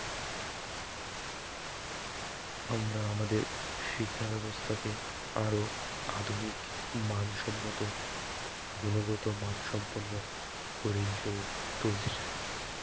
আমরা আমাদের শিক্ষা ব্যবস্থাকে আরও আধুনিক মান সম্মত গুনগত মান সম্পন্ন করে